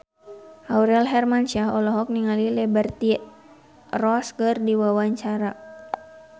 Aurel Hermansyah olohok ningali Liberty Ross keur diwawancara